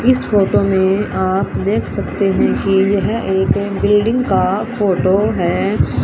इस फोटो में आप देख सकते हैं कि यह एक बिल्डिंग का फोटो है।